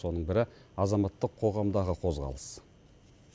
соның бірі азаматтық қоғамдағы қозғалыс